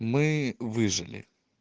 мы выжили